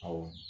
Awɔ